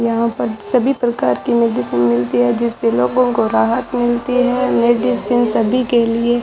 यहां पर सभी प्रकार की मेडिसिन मिलती है जिससे लोगों को राहत मिलती है मेडिसिन सभी के लिए --